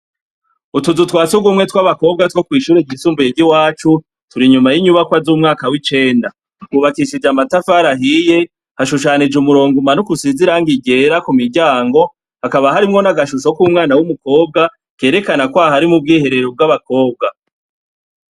Utuzu twasugumwe twabakobwa two kwishure ryisumbuye ryiwacu turi inyuma yinyubako zumwaka wicenda bwubakishijwe amatafari ahiye hashushanijwe umurongo umanuka usize irangi ryera kumiryango hakaba harimwo nagashusho kumwana wumukobwa kerekana kwari mubwiherero bwabakobwa